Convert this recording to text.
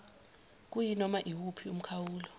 kuyinoma iwuphi umkhawulo